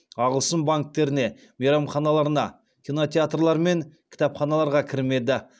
ағылшын банктеріне мейрамханаларына кинотеатрлар мен кітапханаларға кірмеді